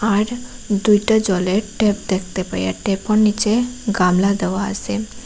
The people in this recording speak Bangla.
আর দুইটা জলের ট্যাপ দেখতে পাই আর ট্যাপোর নীচে গামলা দেওয়া আসে।